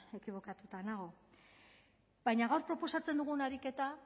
ekibokatuta nago baina gaur proposatzen dugun ariketa